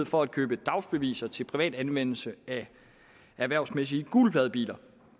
for at købe dagsbeviser til privat anvendelse af erhvervsmæssige gulpladebiler